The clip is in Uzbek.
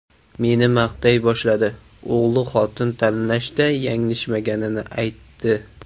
Meni maqtay boshladi, o‘g‘li xotin tanlashda yanglishmaganini aytdi.